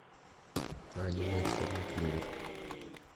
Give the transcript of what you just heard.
аниме черный клевер